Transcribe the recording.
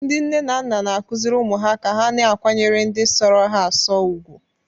Ndị nne na nna na-akụziri ụmụ ha ka ha na-akwanyere ndị sọrọ ha asọ ùgwù.